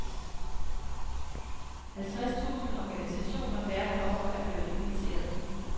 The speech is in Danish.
Halvtreds tusind organisationer verden over er blevet inviteret.